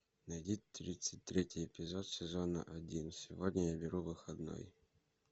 найди тридцать третий эпизод сезона один сегодня я беру выходной